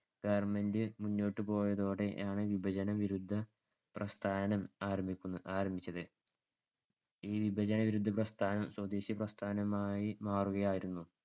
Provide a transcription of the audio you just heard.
government മുന്നോട്ടു പോയതോടെയാണ് വിഭജനവിരുദ്ധപ്രസ്ഥാനം ആരംഭിക്കുന്നത്~ആരംഭിച്ചത്. ഈ വിഭജനവിരുദ്ധപ്രസ്ഥാനം സ്വദേശിപ്രസ്ഥാനമായി മാറുകയായിരുന്നു.